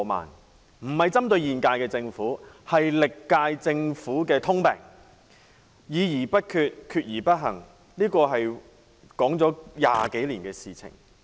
我不是針對現屆政府，這是歷屆政府的通病：議而不決，決而不行，是個談了20多年的情況。